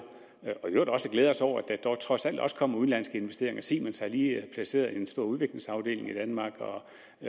og i øvrigt også glæde os over at der dog trods alt også kommer udenlandske investeringer siemens har lige placeret en stor udviklingsafdeling i danmark og